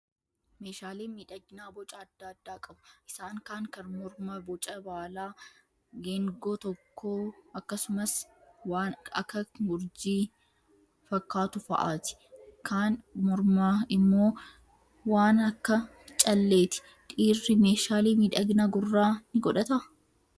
Meeshaaleen miidhaginaa boca adda addaa qabu. Isaan kaan kan mormaa boca baalaa, geengoo tokkoo akkasumas waan akak urjii fakkaatu fa'aati. Kan mormaa immoo waan akak calleeti. Dhiirri meeshaalee miidhaginaa gurraa ni godhataa?